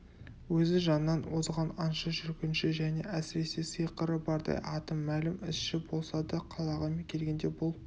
өзі жаннан озған аңшы жүргінші және әсіресе сиқыры бардай аты мәлім ізші болса да қалаға келгенде бұл